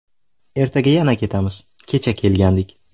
Ertaga yana ketamiz, kecha kelgandik.